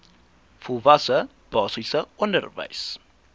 volwasse basiese onderwys